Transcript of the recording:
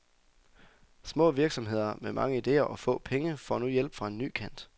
Små virksomheder med mange idéer og få penge får nu hjælp fra en ny kant.